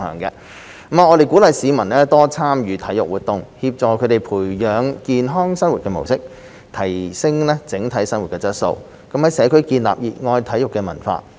我們鼓勵市民多參與體育活動，協助他們培養健康生活模式，提升整體生活質素，在社區建立熱愛體育的文化。